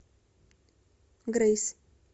грейс